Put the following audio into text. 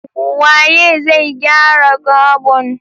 Waye zai gyara gabon?